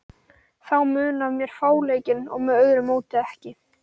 Þá mun af mér fáleikinn og með öðru móti ekki.